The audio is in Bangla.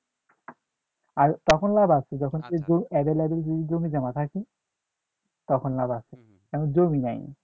আর তখন লাভ আছে যখন available জমি জমা থাকে তখন লাভ আছে এখন জমি নাই